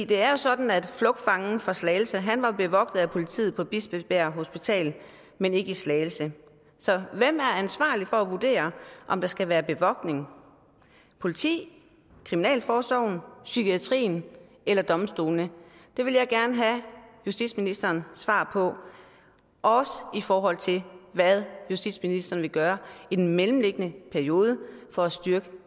det er jo sådan at flugtfangen fra slagelse var bevogtet af politiet på bispebjerg hospital men ikke i slagelse så hvem er ansvarlig for at vurdere om der skal være bevogtning politiet kriminalforsorgen psykiatrien eller domstolene det vil jeg gerne have justitsministerens svar på også i forhold til hvad justitsministeren vil gøre i den mellemliggende periode for at styrke